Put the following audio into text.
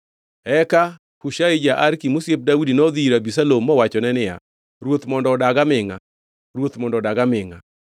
Eka Hushai ja-Arki, mosiep Daudi nodhi ir Abisalom mowachone niya, “Ruoth mondo odag amingʼa! Ruoth mondo odag amingʼa!”